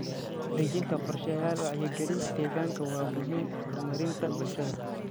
Dejinta qorshayaal wacyigelin deegaan waa muhiim horumarinta bulshada.